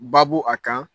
Babu a kan